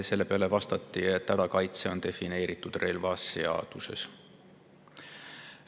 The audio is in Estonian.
Selle peale vastati, et hädakaitse on defineeritud relvaseaduses.